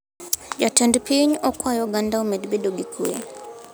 Jatend piny okwayo oganda omed bedo gi kwee